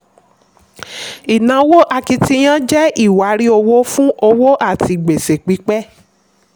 ìnáwó akitiyan jẹ́ iwari owó fún òwò àti gbèsè pípẹ́.